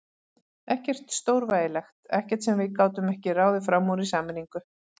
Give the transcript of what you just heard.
Ekkert stórvægilegt, ekkert sem við getum ekki ráðið fram úr í sameiningu.